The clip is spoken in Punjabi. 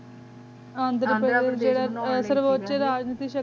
ਅੰਦਰ ਅੰਦਰ ਪੇਰ੍ਡੀਸ਼ ਚ ਅੰਡੇ ਸੀ ਸ਼ਕਤੀ ਦੇ ਰੂਪ ਚ ਸ ਬੰਦੇ ਗੀ